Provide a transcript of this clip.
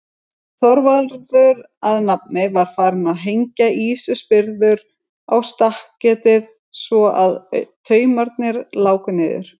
Þorvarður að nafni, var farinn að hengja ýsuspyrður á stakketið svo að taumarnir láku niður.